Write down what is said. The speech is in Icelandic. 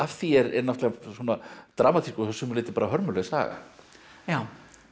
því er náttúrulega dramatísk og að sumu leyti bara hörmuleg saga já